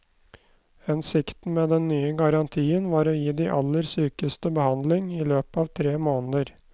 Hensikten med den nye garantien var å gi de aller sykeste behandling i løpet av tre måneder.